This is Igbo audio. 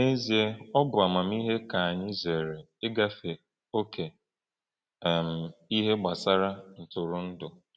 N’ezie, ọ bụ amamihe ka anyị zere igafe ókè um n’ihe gbasara ntụrụndụ.